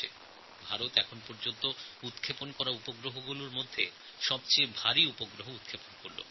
এখনও পর্যন্ত ভারতের উপগ্রহ উৎক্ষেপণগুলির মধ্যে এটাই ছিল সবচেয়ে ভারী উপগ্রহ উৎক্ষেপণ প্রকল্প